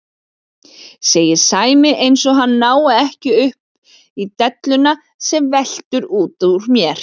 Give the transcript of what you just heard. segir Sæmi eins og hann nái ekki upp í delluna sem veltur út úr mér.